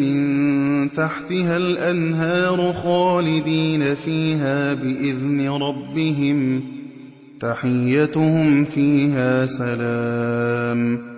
مِن تَحْتِهَا الْأَنْهَارُ خَالِدِينَ فِيهَا بِإِذْنِ رَبِّهِمْ ۖ تَحِيَّتُهُمْ فِيهَا سَلَامٌ